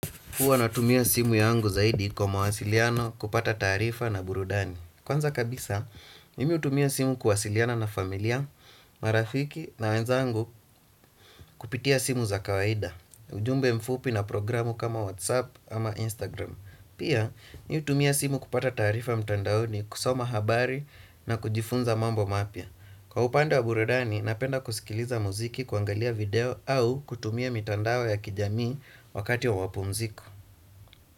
Huwa natumia simu yangu zaidi kwa mawasiliano kupata taarifa na burudani. Kwanza kabisa, mimi hutumia simu kuwasiliana na familia, marafiki na wenzangu kupitia simu za kawaida. Ujumbe mfupi na programu kama WhatsApp ama Instagram. Pia, mimi hutumia simu kupata taarifa mtandaoni kusoma habari na kujifunza mambo mapya. Kwa upande wa burudani, napenda kusikiliza muziki kuangalia video au kutumia mitandao ya kijamii wakati wa mapumziko.